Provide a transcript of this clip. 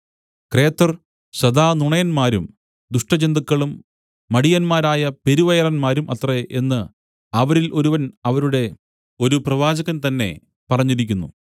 ക്രേത്തർ സദാ നുണയന്മാരും ദുഷ്ടജന്തുക്കളും മടിയന്മാരായ പെരുവയറന്മാരും അത്രേ എന്ന് അവരിൽ ഒരുവൻ അവരുടെ ഒരു പ്രവാചകൻ തന്നെ പറഞ്ഞിരിക്കുന്നു